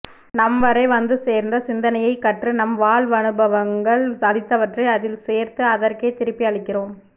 நம் வரை வந்துசேர்ந்த சிந்தனையைக் கற்று நம் வாழ்வனுபவங்கள் அளித்தவற்றை அதில் சேர்த்து அதற்கே திருப்பி அளிக்கிறோம்